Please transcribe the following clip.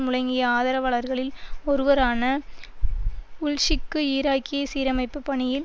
முழங்கிய ஆதரவாளர்களில் ஒருவரான வுல்ஸிக்கு ஈராக்கிய சீரமைப்பு பணியில்